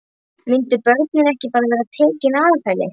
Myndu börnin ekki bara vera tekin af henni?